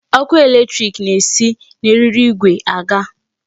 Ọkụ electric na-esi na eriri igwe aga.